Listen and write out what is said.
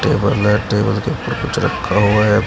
Table है table के ऊपर कुछ रखा हुआ है।